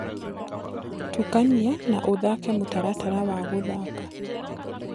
tũkanĩa na ũthake mũtaratara wa guthaka